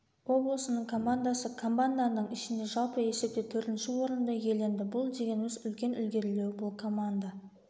облысының командасы команданың ішінде жалпы есепте төртінші орынды иеленді бұл дегеніміз үлкен ілгерілеу бұл команда